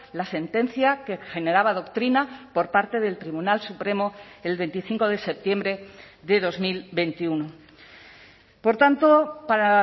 la sentencia que generaba doctrina por parte del tribunal supremo el veinticinco de septiembre de dos mil veintiuno por tanto para